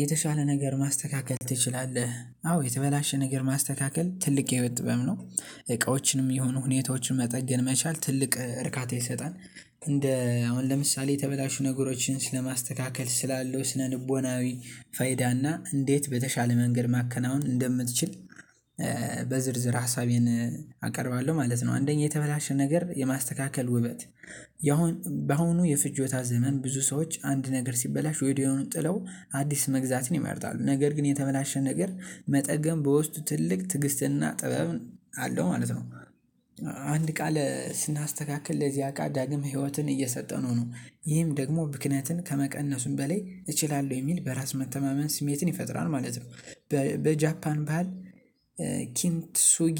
የተሻለ ነገር ማስተካከል ትችላለህ አዎ የተበላሸ ነገር ማስተካከል ትልቅ የህይወት ጥበብ ነው። የሆኑ ሁኔታዎችን መጠገን መቻል ትልቅ እርካታ ይሰጣል እንደ አሁን ለምሳሌ የተበላሹ ነገሮችን ስለማስተካከል ስላለው ስነልቦናዊ ፋይዳና እንዴት በተሻለ መንገድ ማከናወን እንደምትችል። በዝርዝር ሀሳቤን አቀርባለሁ ማለት ነው። አንደኛ የተበላሸ ነገር የማስተካከል ውበት ያሁን በአሁኑ የፍጆታ ዘመን ብዙ ሰዎች አንድ ነገር ሲበላሽ ወድያዉኑ ጥለው አዲስ መግዛትን ይመርጣል ነገር ግን የተበላሸ ነገር መጠገን በውስጡ ትልቅ ትግስትና ጥበብ አለው ማለት ነው። አንድ እቃ ስናስተካክል ለዚያ እቃ ዳግም ህይወትን እየሰጠነው ነው ይህም ደግሞ ብክነትን ከመቀነሱም በላይ እችላለሁ የሚል በራስ መተማመን ስሜትን ይፈጥራል ማለት ነው። በጃፓን ባሀል ኪንት ሱጊ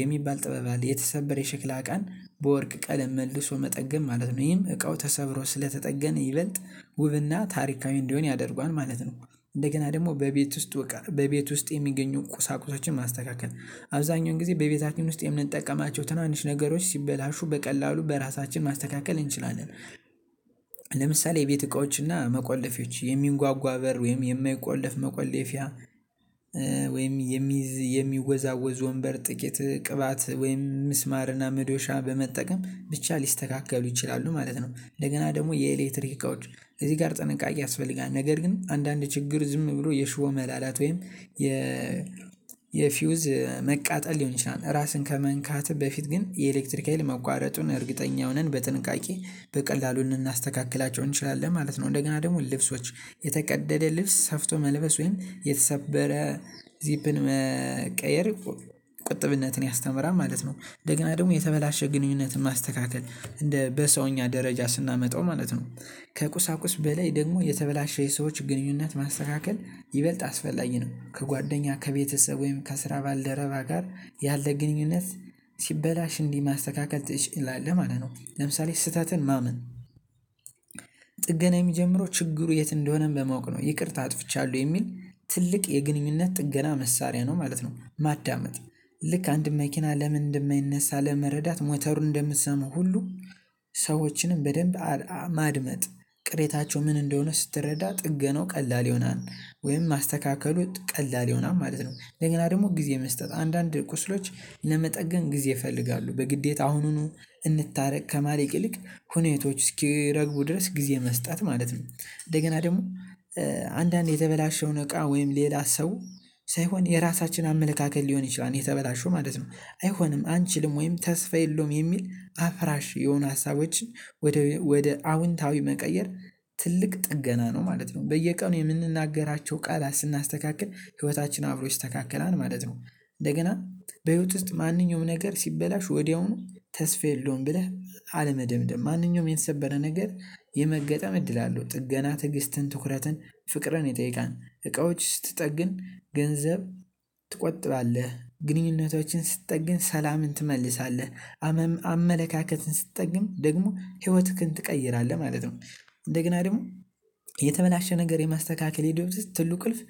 የሚባል ጥበብ አለ የተሰበረ የሸክላ እቃን በወርቅ ቀለም መልሶ መጠገን ማለት ነው ይሄም እቃው ተሰብሮ ስለተጠገነ ይበልጥ ውብና ታሪካዊ እንዲሆን ያደርገዋል ማለት ነው። እንደገና ደግሞ በቤት ዉስጥ እቃ በቤት ውስጥ የሚገኙ ቁሳቁሶችን ማስተካከል አብዛኛውን ጊዜ በቤታችን ውስጥ የምንጠቀማቸው ተናንሽ ነገሮች ሲበላሹ በቀላሉ በራሳችን ማስተካከል እንችላለን። ለምሳሌ የቤት እቃዎችና መቆለፊያዎች የሚንጓጓ በር ወይም የማይቆለፍ መቆለፊያ ወይም የሚወዛወዝ ወንበር ጥቂት ቅባት ወይም ምስማርና ምዶሻ በመጠቀም ብቻ ሊስተካከሉ ይችላሉ ማለት ነው። እንደገና ደግሞ የኤሌክትሪክ እቃዎች እዚህ ጋር ጥንቃቄ ያስፈልጋል ነገር ግን አንዳንድ ችግር ዝም ብሎ የሽቦ መላላት ወይም የ የፊውዝ መቃጠል ሊሆን ይችላል ራስን ከመንካትህ በፊት ግን የኤሌክትሪክ ሀይል መቋረጡን እርግጠኛ ሆነን በጥንቃቄ በቀላሉ እንናስተካክላቸው እንችላለን ማለት ነው። እንደገና ደግሞ ልብሶች የተቀደደ ልብስ ሰፍቶ መልበስ ወይም የተሰበረ ዚፕን መቀየር ቁጥብነትን ያስተምራል ማለት ነው። እንደገና ደግሞ የተበላሸ ግንኙነትን ማስተካከል እንደ በሰውኛ ደረጃ ስናመጣው ማለት ነው። ከቁሳቁስ በላይ ደግሞ የተበላሸ የሰዎች ግንኙነት ማስተካከል ይበልጥ አስፈላጊ ነው። ከጓደኛ ከቤተሰብ ወይም ከስራ ባልደረባ ጋር ያለ ግንኙነት ሲበላሽ እንዲህ ማስተካከል ትችላለህ ማለት ነው። ለምሳሌ ስህተትን ማመን ጥገና የሚጀምረው ችግሩ የት እንደሆነ በማወቅ ነው። ይቅርታ አጥፍቻለሁ የሚል ትልቅ የግንኙነት ጥገና መሳሪያ ነው ማለት ነው። ማዳመጥ ልክ አንድን መኪና ለምን እንደማይነሳ ለመረዳት ሞተሩን እንደምትሰሙ ሁሉ ሰዎችንም በደንብ ማድመጥ ቅሬታቸው ምን እንደሆነ ስትረዳ ጥገናው ቀላል ይሆናል ወይም ማስተካከሉ ቀላል ይሆናል ማለት ነው። እንገና ደግሞ ጊዜ መስጠት አንዳንድ ቁስሎች ለመጠገን ጊዜ ይፈልጋሉ በግዴታ አሁኑኑ እንታረቅ ከማለት ይልቅ ሁኔታዎች እስኪረግቡ ድረስ ጊዜ መስጠት ማለት ነው። እንደገና ደግሞ አንዳንዴ የተበላሸውን እቃ ወይም ሌላ ሰው ሳይሆን የራሳችን አመለካከት ሊሆን ይችላል የተበላሹው ማለት ነው አይሆንም አንችልም ወይም ተስፋ የለውም የሚል አፍራሽ የሆኑ ሀሳቦችን ወደ ወደ አዎንታዊ መቀየር ትልቅ ጥገና ነው ማለት ነው። በየቀኑ የምንናገራቸው ቃላት ስናስተካክል ህይወታችን አብሮ ይስተካከላል ማለት ነው። እንደገና በህይወት ውስጥ ማንኛውም ነገር ሲበላሽ ወዲያውኑ ተስፋ የለውም ብለህ አለመደምደም ማንኛውም የተሰበረ ነገር የመገጠም እድል አለው። ጥገና ትዕግስትን ትኩረትን ፍቅርን ይጠይቃል። እቃዎች ስትጠግን ገንዘብ ትቆጥባለህ ግንኙነቶችን ስትጠግን ሰላምን ትመልሳለህ አመለካከትን ስጠግን ደግሞ ህይወትህን ትቀይራለህ ማለት ነው። እንደገና ደግሞ የተበላሸ ነገር የማስተካከል ሂደት ዉስጥ ትልቁ ቁልፍ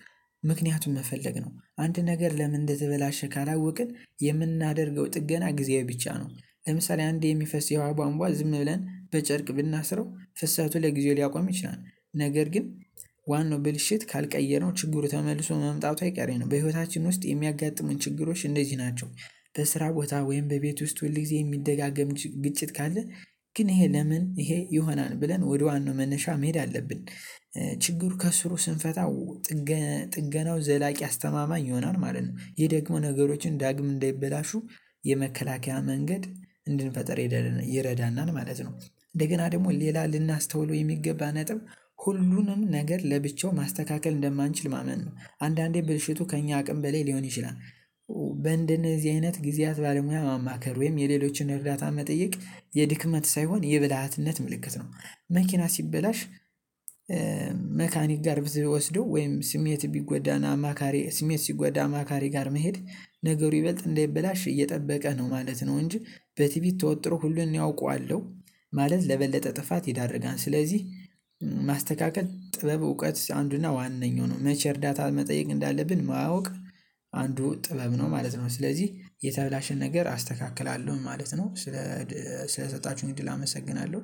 ምክንያቱን መፈለግ ነው። አንድ ነገር ለምን እንደተበላሸ ካላወቅን የምናደርገው ጥገና ጊዜያዊ ብቻ ነው። ለምሳሌ አንዴ የሚፈስ የዉሀ ቧንቧ ዝም ብለን በጨርቅ ብናስረው ፍሰቱ ለጊዜው ሊያቆም ይችላል። ነገር ግን ዋናው ብልሽት ካልቀየርነው ችግሩ ተመልሶ መምጣቱ አይቀሬ ነው። በህይወታችን ውስጥ የሚያጋጥሙን ችግሮች እነዚህ ናቸው። በስራ ቦታ ወይም በቤት ውስጥ ሁል ጊዜ የሚደጋገም ግጭት ካለ ግን ይሄ ለምን ይሄ ይሆናል ብለን ወደ ዋናው መነሻ መሄድ አለብን። ችግሩ ከስሩ ስንፈታው ጥገናው ዘላቂ አስተማማኝ ይሆናል ማለት ነው። ይህ ደግሞ ነገሮችን ዳግም እንዳይበላሹ የመከላከያ መንገድ እንድንፈጥር ይረዳናል ማለት ነው። እንደገና ደግሞ ሌላ ልናስተውለው የሚገባ ነጥብ ሁሉንም ነገር ለብቻው ማስተካከል እንደማንችል ማመን ነው። አንዳንዴ ብልሽቱ ከእኛ አቅም በላይ ሊሆን ይችላል። በእንደነዚህ አይነት ጊዜያት ባለሙያ ማማከር ወይም የሌሎችን እርዳታ መጠየቅ የድክመት ሳይሆን የብልሃትነት ምልክት ነው። መኪና ሲበላሽ መካኒክ ጋር ብትወስደው ወይም ስሜትህ ቢጎዳና አማካሪ ስሜት ሲጎዳ አማካሪ ጋር መሄድ ነገሩ ይበልጥ እንዳይበላሽ እየጠበቀ ነው ማለት ነው። እንጂ በቲቢት ተወጥሮ ሁሉን እኔ አውቃለሁ ማለት ለበለጠ ጥፋት ይዳርጋል። ስለዚህ ማስተካከል ጥበብ እውቀት አንዱና ዋናኛው ነው። መቼ እርዳታ መጠየቅ እንዳለብን ማወቅ አንዱ ጥበብ ነው ማለት ነው። ስለዚህ የተበላሸን ነገር አስተካክላለሁ ማለት ነው። ስለ ሰጣችሁኝ እድል አመሰግናለሁ።